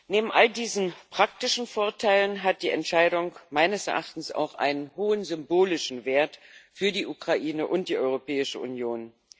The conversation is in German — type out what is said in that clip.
Neben all diesen praktischen Vorteilen hat die Entscheidung meines Erachtens auch einen hohen symbolischen Wert für die Ukraine und die Europäische Union.